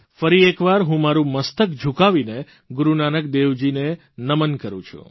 ફરી એકવાર હું મારૂં મસ્તક ઝુકાવીને ગુરૂનાનક દેવજીને નમન કરૂં છું